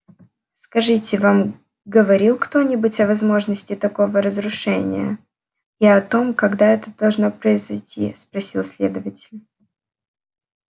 скажите вам говорил кто-нибудь о возможности такого разрушения и о том когда это должно произойти спросил следователь